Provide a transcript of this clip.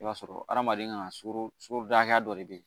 I b'a sɔrɔ hadamaden kan ka sukoro sukoroda hakɛya dɔ de